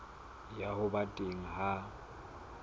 ya ho ba teng ha